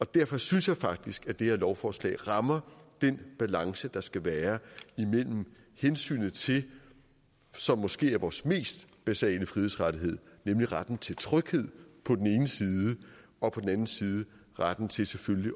derfor synes jeg faktisk at det her lovforslag rammer den balance der skal være imellem hensynet til det som måske er vores mest basale frihedsrettighed nemlig retten til tryghed på den ene side og på den anden side retten til selvfølgelig